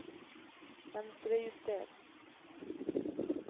Venstrejuster